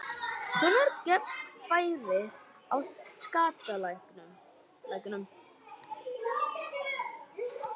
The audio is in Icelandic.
Hvenær gefst færi á skattalækkunum?